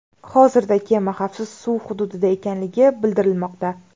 Hozirda kema xavfsiz suv hududida ekanligi bildirilmoqda.